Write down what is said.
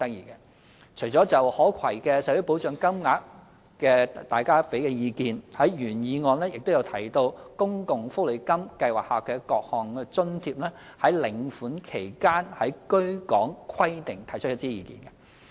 大家除了就可攜的社會保障金額給予意見外，原議案亦就公共福利金計劃下各項津貼於領款期間的居港規定提出意見。